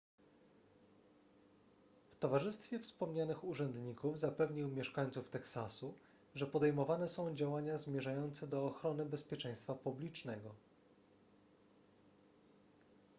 w towarzystwie wspomnianych urzędników zapewnił mieszańców teksasu że podejmowane są działania zmierzające do ochrony bezpieczeństwa publicznego